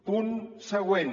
punt següent